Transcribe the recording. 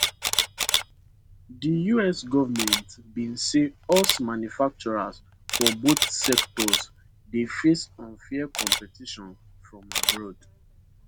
di us government bin say us manufacturers for both sectors dey face unfair competition from abroad